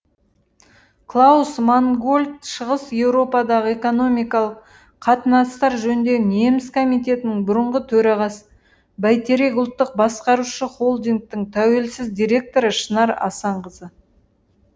клаус мангольд шығыс еуропадағы экономикалық қатынастар жөніндегі неміс комитетінің бұрынғы төрағасы бәйтерек ұлттық басқарушы холдингінің тәуелсіз директоры шынар асанқызы